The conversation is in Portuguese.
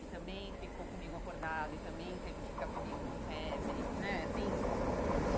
e também ficou comigo acordado e também teve que ficar comigo com febre né assim.